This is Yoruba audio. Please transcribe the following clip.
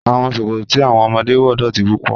Awọn sọkọtọ̀ tí awọn ọmọdé wọ dọ́ti púpọ̀.